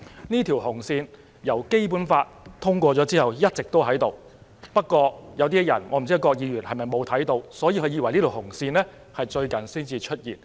"這條"紅線"由《基本法》通過已一直存在，不過有一些人——可能包括郭議員——以為這條"紅線"最近才出現。